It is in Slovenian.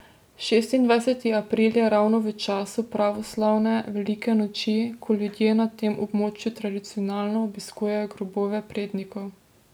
Šestindvajseti april je ravno v času pravoslavne velike noči, ko ljudje na tem območju tradicionalno obiskujejo grobove prednikov.